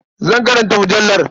Zan karanta mujallar.